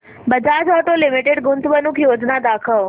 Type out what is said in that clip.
Bajaj auto limited गुंतवणूक योजना दाखव